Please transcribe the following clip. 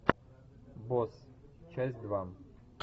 босс часть два